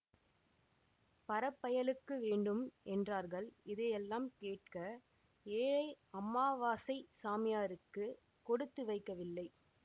பறப்பயலுக்கு வேண்டும் என்றார்கள் இதையெல்லாம் கேட்க ஏழை அம்மாவாசைச் சாமியாருக்கு கொடுத்து வைக்கவில்லை